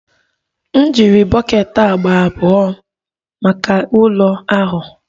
M jiri bọket agba abụọ maka ụlọ ahụ.